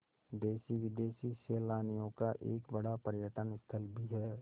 देशी विदेशी सैलानियों का एक बड़ा पर्यटन स्थल भी है